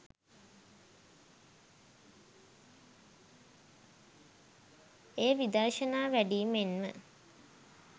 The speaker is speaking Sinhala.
එය විදර්ශනා වැඩීමෙන් ම